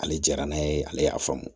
Ale jara n'a ye ale y'a faamu